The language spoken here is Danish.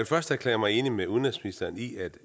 først erklære mig enig med udenrigsministeren i at